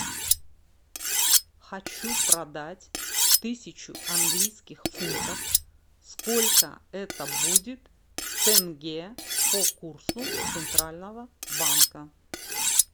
хочу продать тысячу английских фунтов сколько это будет в тенге по курсу центрального банка